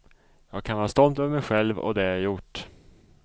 Jag kan vara stolt över mig själv och det jag gjort.